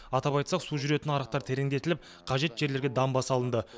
атап айтсақ су жүретін арықтар тереңдетіліп қажет жерлерге дамба салынды